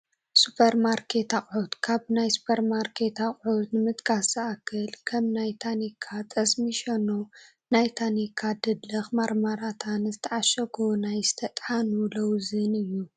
ሱፐርማርኬት ኣቕሑት፡ ካብ ናይ ሱፐርማኬት ኣቕሑት ንምጥቃስ ዝኣክል ከም ናይ ታኒካ ጠስሚ ሸኖ፣ ናይ ታኒካ ድለኽ ማርማላታን ዝተዓሸጉ ናይ ዝተጣሓኑ ሎውዝን እዩ፡፡